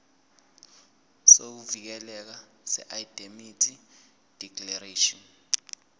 sokuvikeleka seindemnity declaration